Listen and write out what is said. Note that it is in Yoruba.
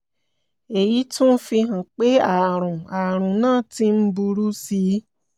èyí tún fi hàn pé ààrùn ààrùn náà ti ń burú sí i